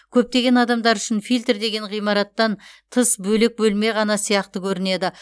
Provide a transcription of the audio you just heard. көптеген адамдар үшін фильтр деген ғимараттан тыс бөлек бөлме ғана сияқты көрінеді